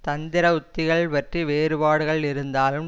தந்திர உத்திகள் பற்றி வேறுபாடுகள் இருந்தாலும்